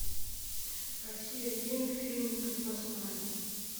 россия один фильм крепостная